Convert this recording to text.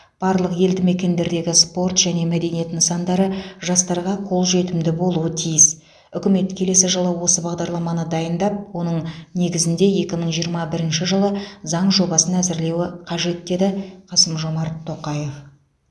барлық елді мекендердегі спорт және мәдениет нысандары жастарға қолжетімді болуы тиіс үкімет келесі жылы осы бағдарламаны дайындап оның негізінде екі мың жиырма бірінші жылы заң жобасын әзірлеуі қажет деді қасым жомарт тоқаев